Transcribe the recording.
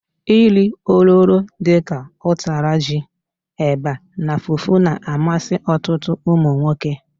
Nri ololo dika utara ji, eba na fufu na-amasi otutu umunwoke.